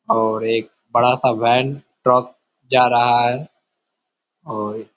और एक बड़ा सा वैन ट्रक जा रहा है और --